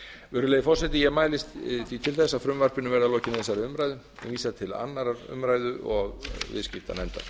virðulegi forseti ég mælist til þess að frumvarpinu verði að lokinni þessari umræðu vísað til annarrar umræðu og viðskiptanefndar